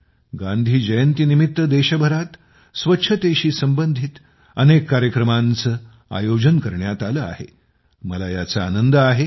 गांधी जयंतीनिमित्त देशभरात स्वच्छतेशी संबंधित अनेक कार्यक्रमांचे आयोजन करण्यात आले आहे याचा मला आनंद आहे